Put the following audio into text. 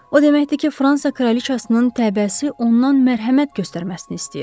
O deməkdir ki, Fransa kraliçasının təbəəsi ondan mərhəmət göstərməsini istəyir.